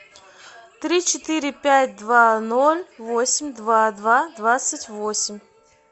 три четыре пять два ноль восемь два два двадцать восемь